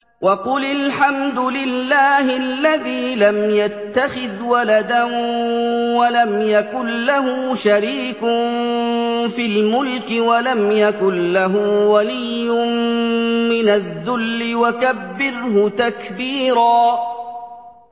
وَقُلِ الْحَمْدُ لِلَّهِ الَّذِي لَمْ يَتَّخِذْ وَلَدًا وَلَمْ يَكُن لَّهُ شَرِيكٌ فِي الْمُلْكِ وَلَمْ يَكُن لَّهُ وَلِيٌّ مِّنَ الذُّلِّ ۖ وَكَبِّرْهُ تَكْبِيرًا